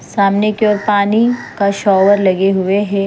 सामने की ओर पानी का शोवर लगे हुए है।